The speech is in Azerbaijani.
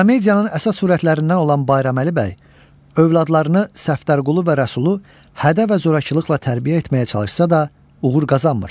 Komediyanın əsas sürətlərindən olan Bayraməli bəy övladlarını Səftərqulu və Rəsulu hədə və zorakılıqla tərbiyə etməyə çalışsa da, uğur qazanmır.